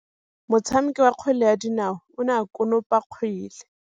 Motshameki wa kgwele ya dinaô o ne a konopa kgwele.